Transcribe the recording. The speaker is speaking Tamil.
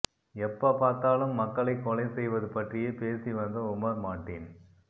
எப்ப பார்த்தாலும் மக்களை கொலை செய்வது பற்றியே பேசி வந்த உமர் மாட்டீன்